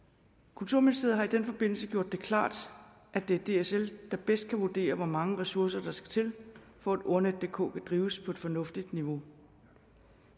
kulturministeriet har i den forbindelse gjort det klart at det er dsl der bedst kan vurdere hvor mange ressourcer der skal til for at ordnetdk kan drives på et fornuftigt niveau